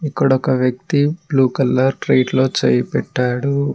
ఇక్కడ ఒక వ్యక్తి బ్లూ కలర్ ట్రే లో చేయి పెట్టాడు.